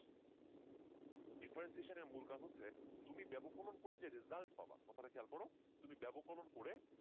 differentiation এর মূল কাজ হচ্ছে তুমি বেবকলন করে যে result পাব কথাটা খেয়াল করো তুমি বেবকলন